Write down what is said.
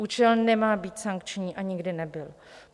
Účel nemá být sankční a nikdy nebyl.